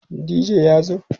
dj ya zo?